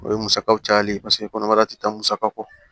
O ye musakaw cayali paseke kɔnɔbara ti taa musaka kɔ